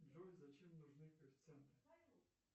джой зачем нужны коэффициенты